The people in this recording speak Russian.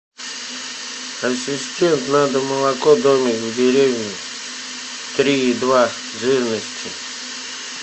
ассистент надо молоко домик в деревне три и два жирности